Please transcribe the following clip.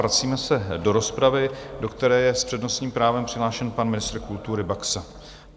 Vracíme se do rozpravy, do které je s přednostním právem přihlášen pan ministr kultury Baxa.